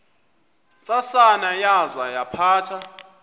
ntsasana yaza yaphatha